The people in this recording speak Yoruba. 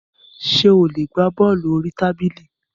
Ṣé ó lè gbá bọ́ọ̀lù orí tábìlì?